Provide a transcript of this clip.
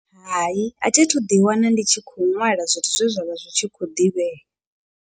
Hai, a thi thu ḓi wana ndi tshi kho ṅwala zwithu zwe zwa vha zwi tshi khou ḓivhea.